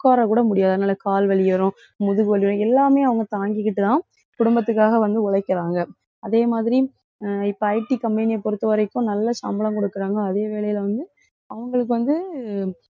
உட்காரக்கூட முடியாது. அதனால, கால் வலி வரும். முதுகு வலி வரும். எல்லாமே அவங்க தாங்கிக்கிட்டுதான் குடும்பத்துக்காக வந்து உழைக்கிறாங்க அதே மாதிரி அஹ் இப்ப IT company அ பொறுத்தவரைக்கும் நல்ல சம்பளம் கொடுக்குறாங்க. அதே வேலையில வந்து அவங்களுக்கு வந்து,